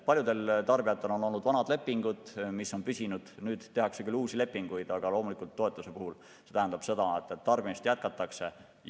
Paljudel tarbijatel on olnud vanad lepingud, mis on püsinud, nüüd tehakse küll uusi lepinguid, aga loomulikult toetused tähendavad seda, et tarbimist jätkatakse.